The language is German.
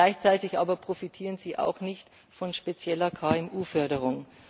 Gleichzeitig aber profitieren sie auch nicht von spezieller KMU Förderung.